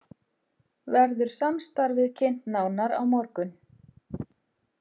Verður samstarfið kynnt nánar á morgun